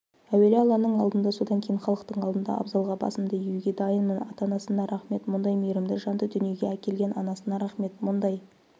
әуелі алланың алдында содан кейін халықтың алдында абзалға басымды иуге дайынмын ата-анасына рақмет мұндай мейірімді жанды дүниеге әкелген анасына рақмет мұндай